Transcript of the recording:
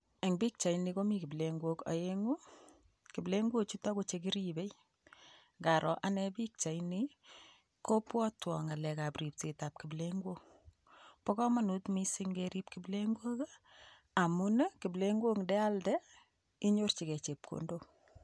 Eng pichaini komi kiplengook oenguu chekeribe. Indaroo ane pichaini ko bwotwon ngalekab ripsetab kiplengook. Mokomonut missing kerib kiplengook I,amun kiplengook indealdee inyorchigei chepkondook.